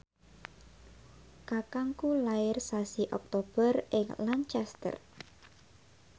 kakangku lair sasi Oktober ing Lancaster